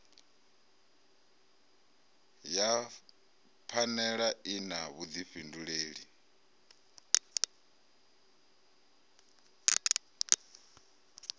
ya phanele i na vhudifhinduleli